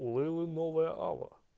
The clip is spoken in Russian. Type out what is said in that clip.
у лейлы новая ава